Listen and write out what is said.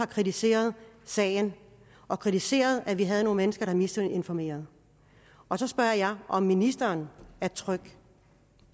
kritiseret sagen og kritiseret at vi havde nogle mennesker der misinformerede og så spørger jeg om ministeren er tryg